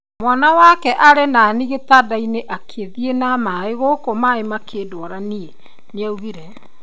"Mwana wakwa arĩ nani gitandaini akĩthĩi na maĩ gũkũ maĩ makĩndwara nie, nĩaugire